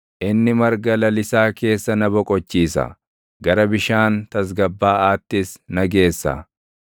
Inni marga lalisaa keessa na boqochiisa; gara bishaan tasgabbaaʼaattis na geessa;